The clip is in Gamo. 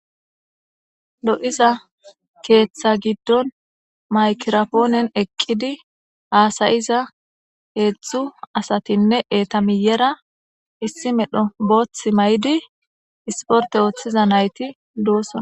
lo7iza keeththa giddon maykirapoonen eqqidi haasayiza heedzdzu asatinne eetamiyera issi medho booth may7idi isporte ooththiza nayti doosona